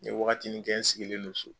N ye wagatinin kɛ n sigilen do sa.